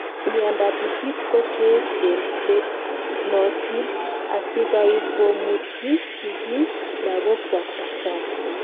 miandap itit ko Cheechen chenootin asigaikomutyi sigiik lagokwak dakitari